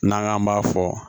N'an k'an b'a fɔ